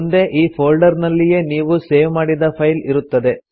ಮುಂದೆ ಈ ಫೋಲ್ಡರ್ ನಲ್ಲಿಯೇ ನೀವು ಸೇವ್ ಮಾಡಿದ ಫೈಲ್ ಇರುತ್ತದೆ